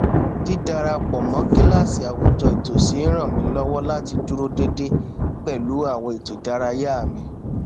dídarapọ mọ kíláàsì àwùjọ ìtòsí n ràn mí lọwọ láti dúró dédé pẹlú àwọn ètò ìdárayá mi